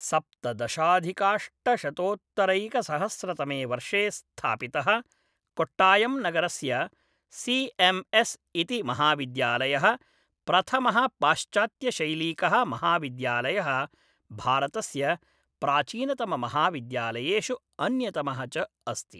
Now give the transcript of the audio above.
सप्तदशाधिकाष्टशतोत्तरैकसहस्रतमे वर्षे स्थापितः कोट्टायम्नगरस्य सी एम् एस् इति महाविद्यालयः प्रथमः पाश्चात्त्यशैलीकः महाविद्यालयः भारतस्य प्राचीनतममहाविद्यालयेषु अन्यतमः च अस्ति।